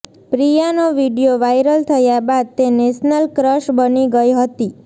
પ્રિયાનો video viral થયા બાદ તે નેશનલ ક્રશ બની ગઇ હતી